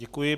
Děkuji.